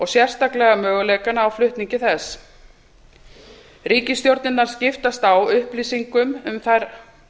sérstaklega möguleikana á flutningi þess ríkisstjórnirnar skiptist á upplýsingum um þær